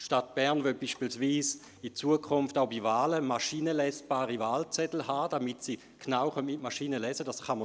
Die Stadt Bern will beispielsweise in Zukunft bei Wahlen maschinenlesebare Wahlzettel haben, damit diese mit der Maschine genau eingelesen werden können.